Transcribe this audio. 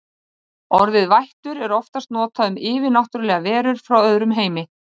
Orðið vættur er oftast notað um yfirnáttúrlegar verur frá öðrum heimi.